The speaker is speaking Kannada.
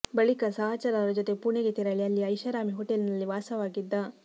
ಬಳಿಕ ಸಹಚರರ ಜೊತೆ ಪುಣೆಗೆ ತೆರಳಿ ಅಲ್ಲಿ ಐಷಾರಾಮಿ ಹೋಟೆಲ್ ನಲ್ಲಿ ವಾಸವಾಗಿದ್ದ